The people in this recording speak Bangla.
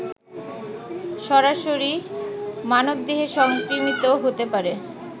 সরাসরি মানবদেহে সংক্রমিত হতে পারে